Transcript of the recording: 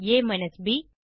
a ப்